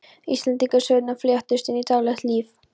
Íslendingasögurnar fléttuðust inn í daglegt líf.